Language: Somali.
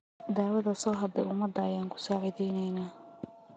Dawadha sohadhe umada aan kusacideynanax.